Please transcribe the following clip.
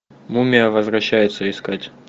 мумия возвращается искать